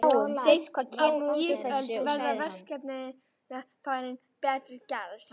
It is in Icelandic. Seint á ísöld verða verkfærin betur gerð.